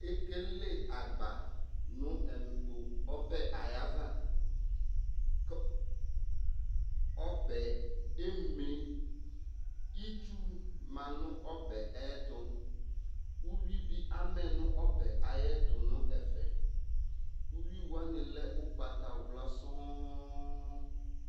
ekele agba no ɛmɛ ɔbɛ ayava kò ɔbɛ eme itsu ma no ɔbɛ ayɛto uwi bi amɛ no ɔbɛ ayɛto n'ɛfɛ uwi wani lɛ ugbata wla sɔŋ